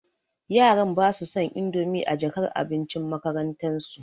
yaran basu son indomi a jakar abincin makarantan su.